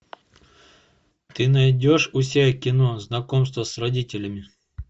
ты найдешь у себя кино знакомство с родителями